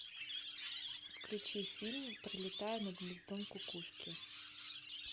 включи фильм пролетая над гнездом кукушки